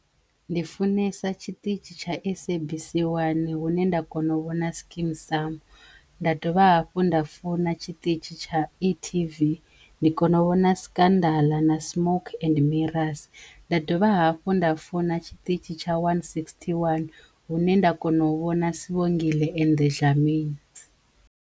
Ndi funesa tshiṱitshi tsha SABC 1 hu ne nda kono u vhona Skeem saam, nda dovha hafhu nda funa tshiṱitshi tsha e.tv ndi kona u vhona Scandal na Smoke and Mirrors nda dovha hafhu nda funa tshiṱitshi tsha one sixty one hune nda kona u vhona Sibongile and the Dlaminis.